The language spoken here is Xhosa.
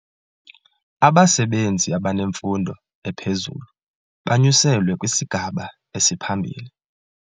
Abasebenzi abanemfundo ephezulu banyuselwe kwisigaba esiphambili.